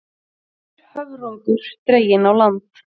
Dauður höfrungur dreginn á land